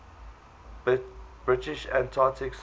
british antarctic survey